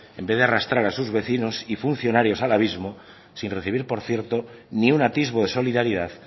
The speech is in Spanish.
en vez de arrastrar a sus vecinos y funcionarios al abismo sin recibir por cierto ni un atisbo de solidaridad